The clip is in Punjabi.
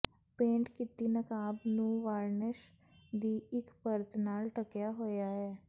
ਪੇਂਟ ਕੀਤੀ ਨਕਾਬ ਨੂੰ ਵਾਰਨਿਸ਼ ਦੀ ਇਕ ਪਰਤ ਨਾਲ ਢੱਕਿਆ ਹੋਇਆ ਹੈ